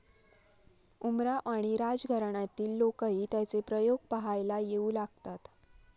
उमराव आणी राजघराण्यातील लोकही त्याचे प्रयोग पहायला येऊ लागतात.